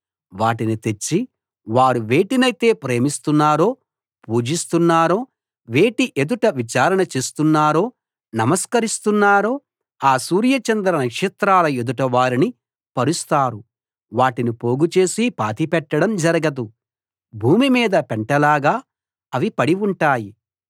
వాటిని తెచ్చి వారు వేటినైతే ప్రేమిస్తున్నారో పూజిస్తున్నారో వేటి ఎదుట విచారణ చేస్తున్నారో నమస్కరిస్తున్నారో ఆ సూర్య చంద్ర నక్షత్రాల ఎదుట వాటిని పరుస్తారు వాటిని పోగు చేసి పాతిపెట్టడం జరగదు భూమి మీద పెంటలాగా అవి పడి ఉంటాయి